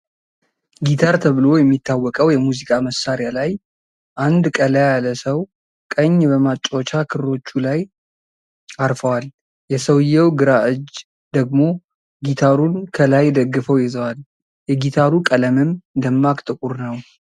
ጊታር ተብሎ የሚታወቀው የሙዚቃ መሳሪያ ላይ አንድ ቀላ ያለ ሰው ቀኝ በማጫወቻ ክሮቹ ላይ አርፈዋል፤ የሰውየው ግራ እጅ ደግሞ ጊታሩን ከላይ ደግፈው ይዘዋል። የጊታሩ ቀለምም ደማቅ ጥቁር ነው።